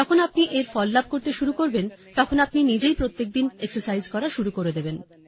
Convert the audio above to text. যখন আপনি এর ফল লাভ করতে শুরু করবেন তখন আপনি নিজেই প্রত্যেকদিন এক্সারসাইজ করা শুরু করে দেবেন